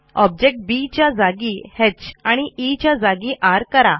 object B च्या जागी ह आणि ई च्या जागी र करा